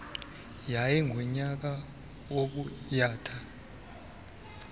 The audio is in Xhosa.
yayi ngunyaka wobuyatha